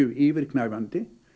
yfirgnæfandi